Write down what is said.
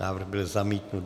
Návrh byl zamítnut.